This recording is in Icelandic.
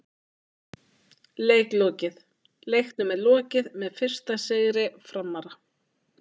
Leik lokið: Leiknum er lokið með fyrsta sigri Framara!!